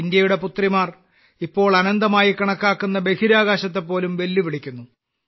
ഇന്ത്യയുടെ പുത്രിമാർ ഇപ്പോൾ അനന്തമായി കണക്കാക്കുന്ന ബഹിരാകാശത്തെപോലും വെല്ലുവിളിക്കുന്നു